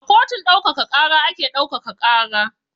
A kotun ɗaukaka ƙara ake ɗaukaka ƙara.